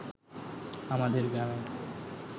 আমাদের গ্রামে